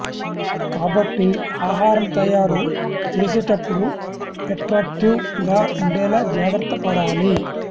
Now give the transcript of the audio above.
కాబట్టి ఆహారం తయారు చేసేటప్పుడు ఎట్రాక్టివ్ గా ఉండేలా జాగ్రత్త పడాలి